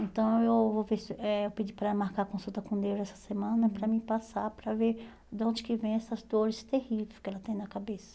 Então, eu vou ver se eh pedir para marcar consulta com neuro essa semana para me passar para ver de onde que vem essas dores terríveis que ela tem na cabeça.